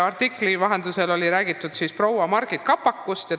Artiklis oli räägitud proua Margit Kapakust.